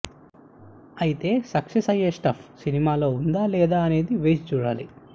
అయితే సక్సెస్ అయ్యే స్టఫ్ సినిమాలో వుందా లేదా అనేది వేచి చూడాలి